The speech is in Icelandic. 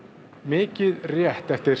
mikið rétt eftir